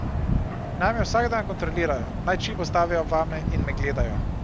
Naj me vsak dan kontrolirajo, naj čip vstavijo vame in me gledajo.